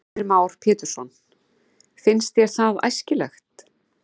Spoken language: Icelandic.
Heimir Már Pétursson: Finnst þér það æskilegt?